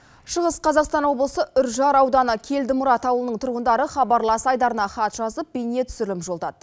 шығыс қазақстан облысы үржар ауданы келдімұрат ауылының тұрғындары хабрлас айдарына хат жазып бейнетүсірілім жолдады